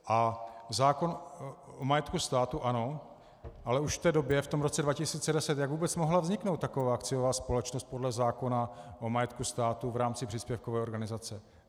A zákon o majetku státu, ano, ale už v té době, v tom roce 2010, jak vůbec mohla vzniknout taková akciová společnost podle zákona o majetku státu v rámci příspěvkové organizace?